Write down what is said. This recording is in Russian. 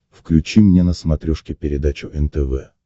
включи мне на смотрешке передачу нтв